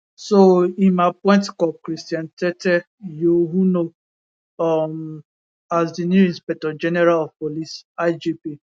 so im appoint cop christian tetteh yohuno um as di new inspector general of police igp